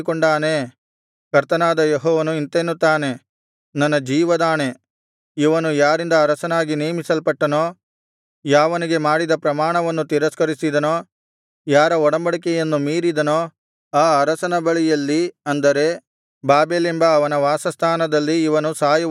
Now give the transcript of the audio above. ಕರ್ತನಾದ ಯೆಹೋವನು ಇಂತೆನ್ನುತ್ತಾನೆ ನನ್ನ ಜೀವದಾಣೆ ಇವನು ಯಾರಿಂದ ಅರಸನಾಗಿ ನೇಮಿಸಲ್ಪಟ್ಟನೋ ಯಾವನಿಗೆ ಮಾಡಿದ ಪ್ರಮಾಣವನ್ನು ತಿರಸ್ಕರಿಸಿದನೋ ಯಾರ ಒಡಂಬಡಿಕೆಯನ್ನು ಮೀರಿದನೋ ಆ ಅರಸನ ಬಳಿಯಲ್ಲಿ ಅಂದರೆ ಬಾಬೆಲೆಂಬ ಅವನ ವಾಸಸ್ಥಾನದಲ್ಲಿ ಇವನು ಸಾಯುವುದು ಖಂಡಿತ